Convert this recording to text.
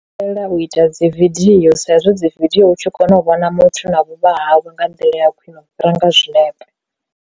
Ndi takalela u ita dzi vidio sa izwi dzi vidio u tshi kona u vhona muthu na vhuvha hawe nga nḓila ya khwiṋe u fhira nga zwinepe.